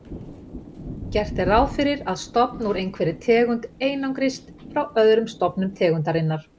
Gert er ráð fyrir að stofn úr einhverri tegund einangrist frá öðrum stofnum tegundarinnar.